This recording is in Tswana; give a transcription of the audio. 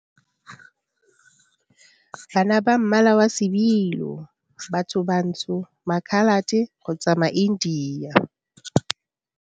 Bana ba mmala wa sebilo, e le bathobantsho, Makhalate kgotsa maIndia.